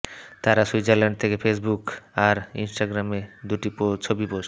তাঁরা সুইজারল্যান্ড থেকে ফেসবুক আর ইনস্টাগ্রামে দুটি ছবি পোস্ট